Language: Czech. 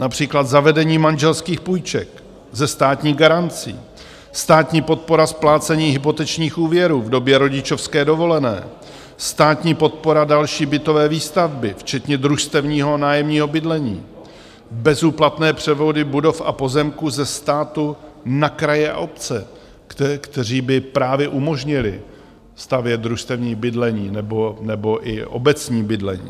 Například zavedení manželských půjček ze státní garancí, státní podpora splácení hypotečních úvěrů v době rodičovské dovolené, státní podpora další bytové výstavby, včetně družstevního nájemního bydlení, bezúplatné převody budov a pozemků ze státu na kraje a obce, které by právě umožnily stavět družstevní bydlení nebo i obecní bydlení.